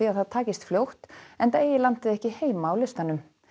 að það takist fljótt enda eigi landið ekki heima á listanum